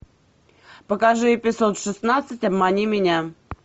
покажи эпизод шестнадцать обмани меня